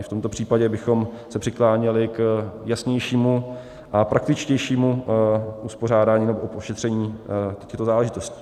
I v tomto případě bychom se přikláněli k jasnějšímu a praktičtějšímu uspořádání nebo ošetření těchto záležitostí.